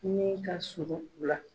Min kasurun u la.